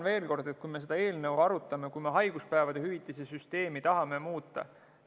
Me arutame seda eelnõu ja tahame haiguspäevade hüvitise süsteemi muuta.